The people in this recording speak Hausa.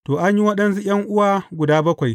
To, an yi waɗansu ’yan’uwa guda bakwai.